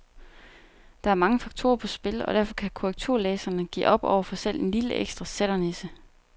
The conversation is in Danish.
Der er mange faktorer på spil, og derfor kan korrekturlæserne give op overfor selv en lille ekstra sætternisse.